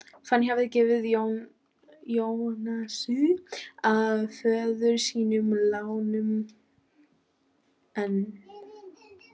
Fanný hafði gefið Jónasi að föður sínum látnum, en